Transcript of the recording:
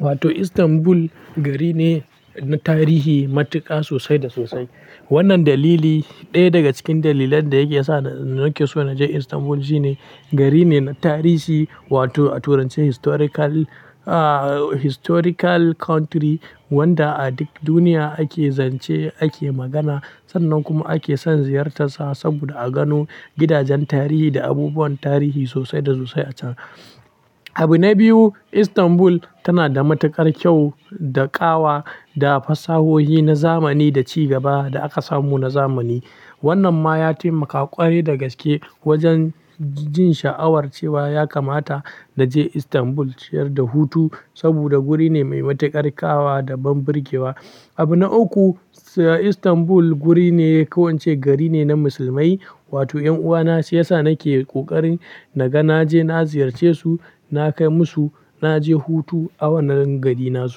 Wato Istanbul gari ne na tarihi matuƙa sosai da sosai. Wannan dalili ɗaya daga cikin dalilan da yake sa nake so na je Istanbul shine gari ne na tarihi wato a turance historical historical country wanda a duk duniya ake zance ake magana sannan kuma ake son ziyartarsa saboda a gano gidajen tarihi da abubuwan tarihi sosai da sosai a can. Abu na biyu, Istanbul tana da matuƙar kyau da ƙawa da fasahohi na zamani da ci gaba da aka samu na zamani. Wannan ma ya taimaka ƙwarai da gaske wajen jin sha'awar cewa ya kamata na je Istanbul ciyar da hutu saboda guri ne mai matuƙar ƙawa da banbarge wa. Abu na uku, Istanbul guri ne ko ince gari ne na musulmai wato ƴan'uwana shi yasa nake ƙoƙarin naga naje na ziyarce su, nakai musu naje hutu a wannan garin nasu.